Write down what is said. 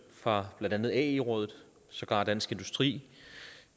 fra blandt andet ae rådet og sågar dansk industri